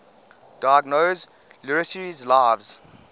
diogenes laertius's lives